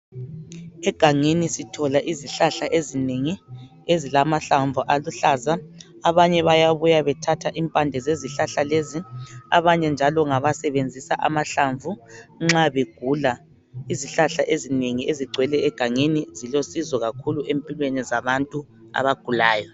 Egangeni sithola izihlahla ezinengi ezilamahlamvu aluhlaza. Abanye bayabuya bethatha impande zezihlahla lezi abanye basebenzisa amahlamvu nxa begula. Izihlahla ezinengi ezigcwele egangeni zilusizo kakhulu empilweni yabantu abagulayo.